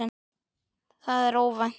Það er óvænt.